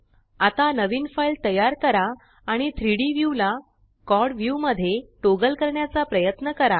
आता नवीन फाइल तयार करा आणि 3डी व्यू ला क्वाड व्ह्यू मध्ये टॉगल करण्याचा प्रयत्न करा